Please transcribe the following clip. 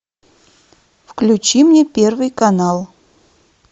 включи мне первый канал